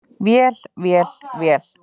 Vél, vél, vél.